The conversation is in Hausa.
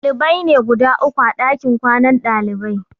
Ɗalibai ne guda uku a ɗakin kwanan ɗalibai.